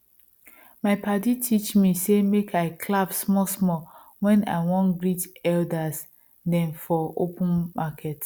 my padi teach me say make i clap smallsmall when i wan greet elder dem for open market